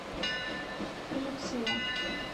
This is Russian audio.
люция